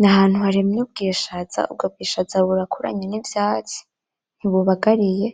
N’ahantu harimye ubwishaza, ubwo bwishaza burakuranye n’ivyatsi ntibubagariye